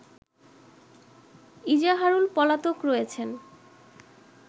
ইজাহারুল পলাতক রয়েছেন